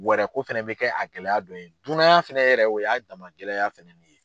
Wɛrɛ ko fɛnɛ be kɛ a gɛlɛya dɔ ye. Dunuya fɛnɛ yɛrɛ o y'a dama gɛlɛya fɛnɛ nin ye.